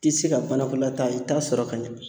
Ti se ka banakɔla ta i t'a sɔrɔ ka ɲɛ.